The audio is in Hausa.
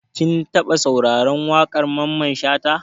Kin taɓa sauraro wakar Mamman Shata?